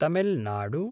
Tamil Nadu